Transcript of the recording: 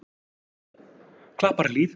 Klapparhlíð